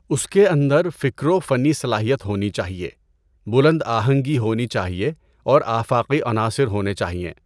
اس کے اندر فکر و فنی صلاحیت ہونی چاہیے، بلند آہنگی ہونی چاہیے اور آفاقی عناصر ہونے چاہئیں۔